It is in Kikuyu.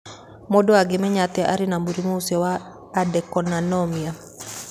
Mũndũ angĩmenya atĩa atĩ arĩ na mũrimũ ũcio wa adenocarcinoma?